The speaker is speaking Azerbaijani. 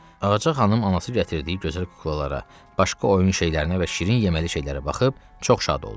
Ağca xanım anası gətirdiyi gözəl kuklalara, başqa oyun şeylərinə və şirin yeməli şeylərə baxıb çox şad oldu.